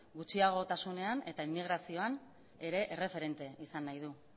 gutxiagotasunean eta emigrazioan ere erreferente izan nahi du